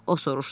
O soruşdu.